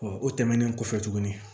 o tɛmɛnen kɔfɛ tuguni